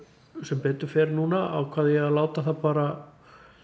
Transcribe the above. sem betur fer núna ákvað ég að láta það bara